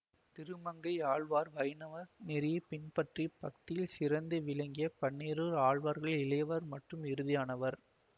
திருமங்கையாழ்வார் வைணவ நெறியை பின்பற்றி பக்தியில் சிறந்து விளங்கிய பன்னிரு ஆழ்வார்களிள் இளையவர் மற்றும் இறுதியானவர்